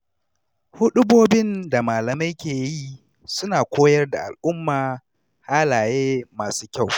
Huɗubobin da malamai ke yi suna koyar da al’umma halaye masu kyau.